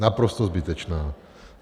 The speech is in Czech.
Naprosto zbytečná.